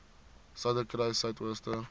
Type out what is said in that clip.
suiderkruissuidooster